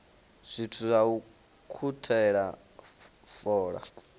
zwithu zwa u ukhuthela fola